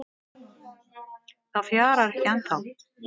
Það fjarar ekki ennþá